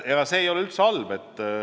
See ei ole üldse halb.